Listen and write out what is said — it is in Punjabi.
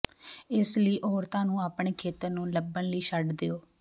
ਇਸ ਲਈ ਔਰਤਾਂ ਨੂੰ ਆਪਣੇ ਖੇਤਰ ਨੂੰ ਲੱਭਣ ਲਈ ਛੱਡ ਦਿਉ